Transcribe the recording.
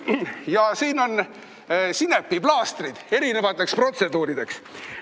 Ja siin on sinepiplaastrid erinevateks protseduurideks.